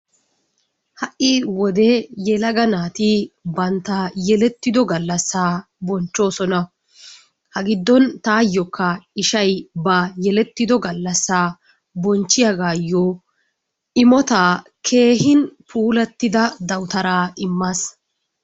Ha'i wode yelaga naati bantta yeletido gallassa bonchchoosona. Ha giddon taayokka ishay ba yelettiddo gallassa bonchchiyagaayoo imotaa keehin puulatida dawutaara immaas.